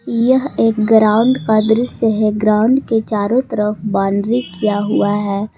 यह एक ग्राउंड का दृश्य है ग्राउंड के चारों तरफ बाउंड्री किया हुआ है।